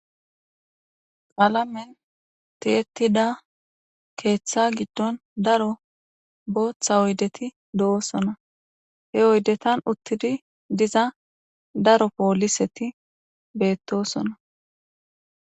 Qalamen ti'etida ketha giidon daro botha oyideti do'sona he oydezan utidi diza poliseta betosona